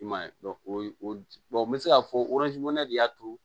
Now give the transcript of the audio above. I m'a ye o ye o bɛ se k'a fɔ de y'a to